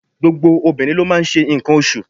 Gbogbo obìnrin ló n máa n se ǹkan osù